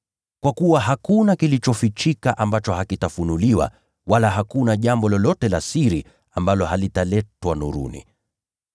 Kwa kuwa hakuna kilichofichika ambacho hakitafunuliwa, wala hakuna jambo lolote la siri ambalo halitaletwa nuruni.